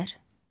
Xəzər.